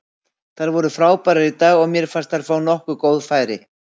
Þær voru frábærar í dag og mér fannst þær fá nokkur góð færi.